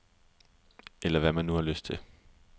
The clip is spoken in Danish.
Eller hvad man nu har lyst til.